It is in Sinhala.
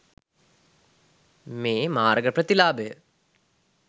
මේ මාර්ග ප්‍රතිලාභය